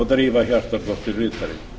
drífa hjartardóttir ritari